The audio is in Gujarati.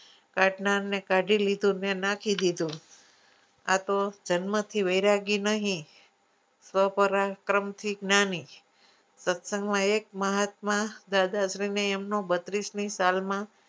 ફેક્નારને કાઢી લીધું અને નાખી દીધું આતો જન્મથી વેરાગી નહી ક્રમથી નાની જ સત્સંગમાં એક મહાત્મા દાદાશ્રીને એમનો બત્રીસની સાલમાં